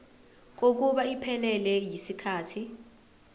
kokuba iphelele yisikhathi